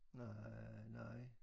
Na nej